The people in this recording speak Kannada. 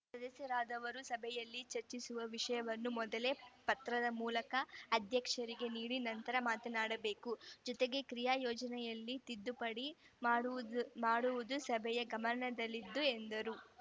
ಸದಸ್ಯರಾದವರು ಸಭೆಯಲ್ಲಿ ಚರ್ಚಿಸುವ ವಿಷಯವನ್ನು ಮೊದಲೇ ಪತ್ರದ ಮೂಲಕ ಅಧ್ಯಕ್ಷರಿಗೆ ನೀಡಿ ನಂತರ ಮಾತನಾಡಬೇಕು ಜೊತೆಗೆ ಕ್ರಿಯಾ ಯೋಜನೆಯಲ್ಲಿ ತಿದ್ದುಪಡಿ ಮಾಡುವು ಮಾಡುವುದು ಸಭೆಯ ಗಮನದಲ್ಲಿದು ಎಂದರು